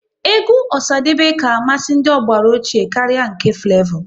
Egwu Osadebe ka amasị ndị ọgbara ochie karịa nke Flevo